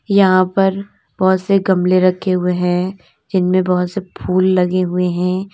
यहां पर बहुत से गमले रखे हुए हैं जिनमें बहुत से फूल लगे हुए हैं।